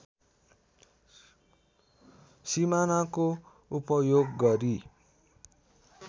सिमानाको उपयोग गरी